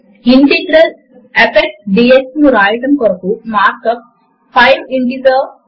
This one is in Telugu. మనము వ్రాసిన సమీకరణములు మరియు సూత్రములు గణిత రూపములో ఇక్కడ మనకు కనిపిస్తాయి